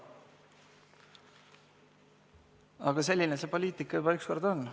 Aga selline see poliitika juba ükskord on.